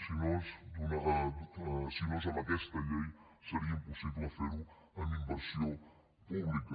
si no és amb aquesta llei seria impossible fer ho amb inversió pública